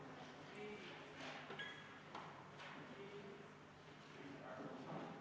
Palun Vabariigi Valimiskomisjonil lugeda hääled üle ka avalikult.